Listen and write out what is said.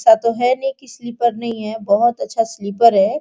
ऐसा तो है नहीं कि स्लीपर नहीं है बहुत अच्छा स्लीपर है।